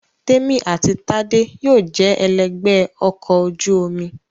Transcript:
Témì àti Tádé yóò jẹ ẹlẹ́gbẹ̀ẹ́ ọkọ̀ ojú omi